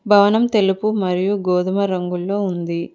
భవనం తెలుపు మరియు గోధుమ రంగుల్లో ఉంది.